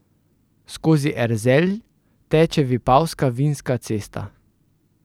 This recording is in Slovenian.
Skozi Erzelj teče vipavska vinska cesta.